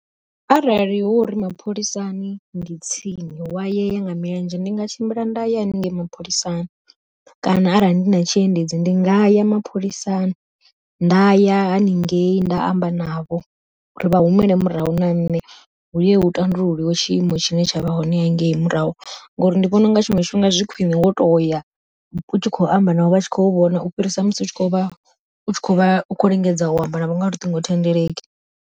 Arali hu uri mapholisani ndi tsini hu ya yeya nga milenzhe ndi nga tshimbila nda ya haningei mapholisani, kana arali ndi na tshiendedzi ndi nga ya mapholisani nda ya haningei nda amba navho uri vha humele murahu na nṋe huye hu ṱanḓululiwe tshiimo tshine tsha vha hone hangei murahu. Ngori ndi vhona unga tshiṅwe tshifhinga zwi khwiṋe wo toya u tshi khou amba navho vha tshi khou vhona u fhirisa musi u tshi kho vha khou lingedza u amba navho nga luṱingo thendeleki.